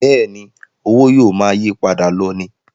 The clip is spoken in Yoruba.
Bẹ́ẹ̀ni, owó yóò máa yípadà lọ ni